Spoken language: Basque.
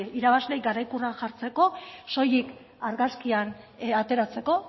irabazleei garaikurra jartzeko soilik argazkian ateratzeko